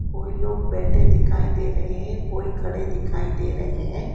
कोई लोग बैठे दिखाई दे रहे है कोई खड़े दिखाई दे रहे है।